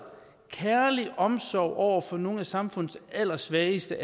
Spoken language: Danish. at kærlig omsorg over for nogle af samfundets allersvageste